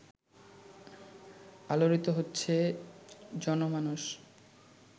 আলোড়িত হচ্ছে জনমানস